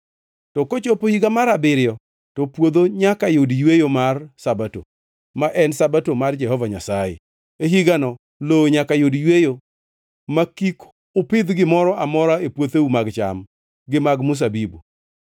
To kochopo higa mar abiriyo to puodho nyaka yud yweyo mar Sabato, ma en Sabato mar Jehova Nyasaye. E higano lowo nyaka yud yweyo ma kik upidh gimoro amora e puotheu mag cham gi mag mzabibu.